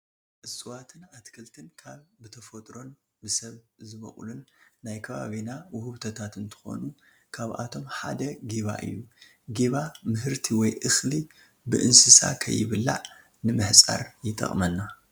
እፀዋትን ኣትክልትን ካብ ብተፈጥሮን ብሰብን ዝበቑሉን ናይ ከባቢና ውህብቶታት እንትኾኑ ካብኣቶም ሓደ ጊባ እዩ፡፡ ጊባ ምህርቲ ወይ እኽሊ ብእንስሳ ከይብላዕ ንምሕፃር ይጠቕመና፡፡